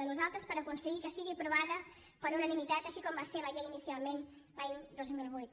de nosaltres per aconseguir que sigui aprovada per unanimitat així com va ser ho la llei inicialment l’any dos mil vuit